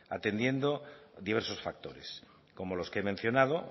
atendiendo diversos factores como los que he mencionado